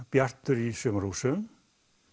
Bjartur í sumarhúsum